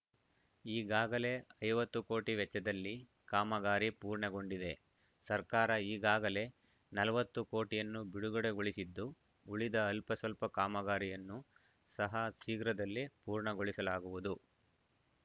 ಈಗಾಗಲೇ ಐವತ್ತು ಕೋಟಿ ವೆಚ್ಚದಲ್ಲಿ ಕಾಮಗಾರಿ ಪೂರ್ಣಗೊಂಡಿದೆ ಸರ್ಕಾರ ಈಗಾಗಲೇ ನಲವತ್ತು ಕೋಟಿಯನ್ನು ಬಿಡುಗಡೆಗೊಳಿಸಿದ್ದು ಉಳಿದ ಅಲ್ಪಸ್ವಲ್ಪ ಕಾಮಗಾರಿಯನ್ನು ಸಹ ಶೀಘ್ರದಲ್ಲೇ ಪೂರ್ಣಗೊಳಿಸಲಾಗುವುದು